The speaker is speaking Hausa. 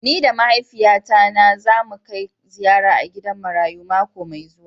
Ni da mahaifiya na za mu Kai ziyara a gidan marayu mako Mai zuwa.